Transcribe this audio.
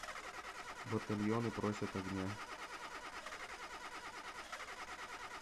батальоны просят огня